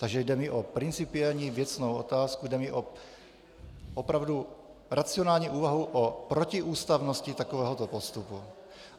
Takže jde mi o principiální věcnou otázku, jde mi o opravdu racionální úvahu o protiústavnosti takovéhoto postupu.